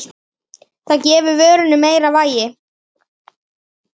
Það gefi vörunni meira vægi.